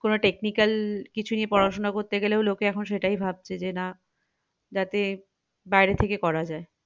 কোনো technical কিছু নিয়ে পড়াশোনা করতে গেলেও লোকে এখন সেটাই ভাবছে যে না যাতে বাইরে থেকেই করা যাক